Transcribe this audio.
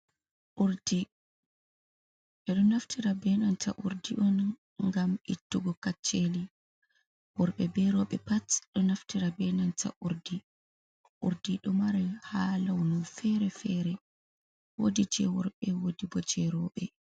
Urdi, ɓedo naftira be nanta urdi on gam ittugo kacceli, worbe berobe pat do naftira be nanta urdi. Urdi do mari ha launu fere-fere, wodi je worbe wodi bo je roɓe.